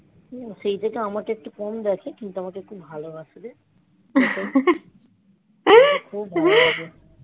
সেই গুল আমাকে একটু কম করে কিন্তু খুব ভালো বাসে